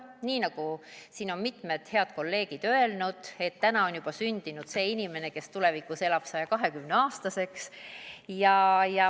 Nii nagu siin on mitmed head kolleegid öelnud, et täna on juba sündinud see inimene, kes elab 120-aastaseks.